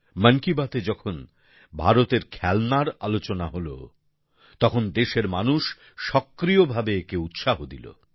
মন কি বাতে যখন ভারতের খেলনার আলোচনা হল তখন দেশের মানুষ সক্রিয়ভাবে একে উৎসাহ দিল